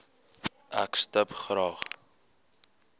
ek stip graag